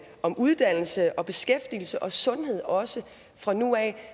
om uddannelse og beskæftigelse og sundhed også fra nu af